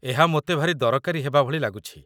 ଏହା ମୋତେ ଭାରି ଦରକାରୀ ହେବାଭଳି ଲାଗୁଛି